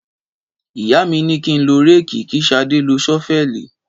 Ìyá mi ni kín ló rẹki kí ṣàdẹ́ ló sọfẹli